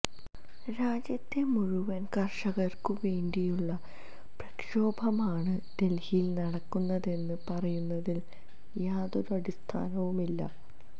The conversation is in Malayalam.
രാജ്യത്തെ മുഴുവന് കര്ഷകര്ക്കും വേണ്ടിയുള്ള പ്രക്ഷോഭമാണ് ദല്ഹിയില് നടക്കുന്നതെന്ന് പറയുന്നതില് യാതൊരു അടിസ്ഥാനവുമില്ല